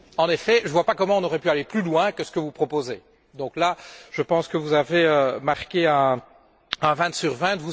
En effet, je ne vois pas comment on aurait pu aller plus loin que ce que vous proposez. Donc là, je pense que vous avez marqué un vingt sur vingt.